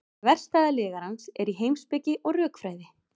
þverstæða lygarans er í heimspeki og rökfræði